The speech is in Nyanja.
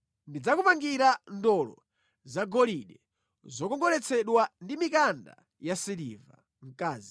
Tidzakupangira ndolo zagolide zokongoletsedwa ndi mikanda yasiliva.